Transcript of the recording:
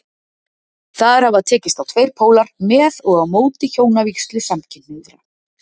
Þar hafa tekist á tveir pólar, með og á móti hjónavígslu samkynhneigðra.